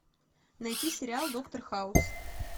найти сериал доктор хаус